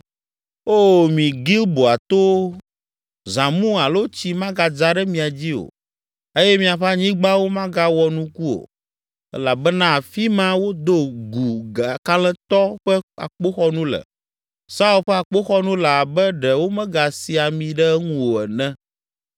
“Oo, mi Gilboa towo, zãmu alo tsi magadza ɖe mia dzi o, eye miaƒe anyigbawo magawɔ nuku o. Elabena afi ma, wodo gu kalẽtɔ ƒe akpoxɔnu le, Saul ƒe akpoxɔnu le abe ɖe womegasi ami ɖe eŋu o ene.